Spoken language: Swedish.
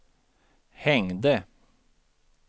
hängde